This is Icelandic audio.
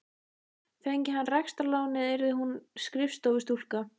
Fengi hann rekstrarlánið yrði hún skrifstofustúlka.